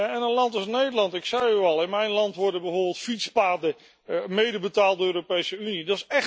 En een land als Nederland, ik zei u al in mijn land worden bijvoorbeeld fietspaden mede betaald door de Europese Unie.